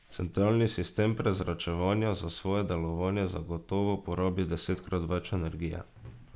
Centralni sistem prezračevanja za svoje delovanje zagotovo porabi desetkrat več energije.